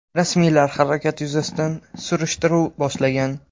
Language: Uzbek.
Rasmiylar halokat yuzasidan surishtiruv boshlagan.